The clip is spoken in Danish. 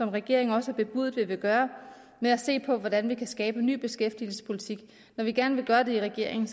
regeringen også bebudet vi vil gøre ved at se på hvordan vi kan skabe en ny beskæftigelsespolitik når vi gerne vil gøre det i regeringen